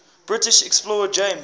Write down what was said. british explorer james